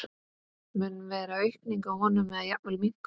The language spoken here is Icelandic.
Mun vera aukning á honum eða jafnvel minnkun?